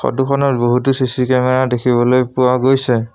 ফটোখনত বহুতো CC camera দেখিবলৈ পোৱা গৈছে।